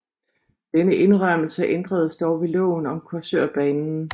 Denne indrømmelse ændredes dog ved loven om Korsørbanen